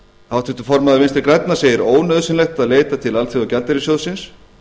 háttvirtur formaður vinstri grænna segir ónauðsynlegt að leita til alþjóðagjaldeyrissjóðsins